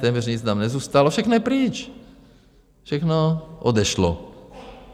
Téměř nic nám nezůstalo, všechno je pryč, všechno odešlo.